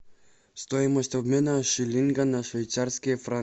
стоимость обмена шиллинга на швейцарские франки